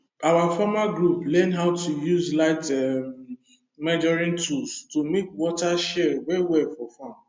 our farmer group learn how to use light um measuring tool to make water share well well for farm